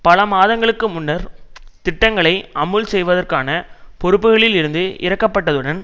பல மாதங்களுக்கு முன்னர் திட்டங்களை அமுல் செய்வதற்கான பொறுப்புகளில் இருந்து இறக்கப்பட்டதுடன்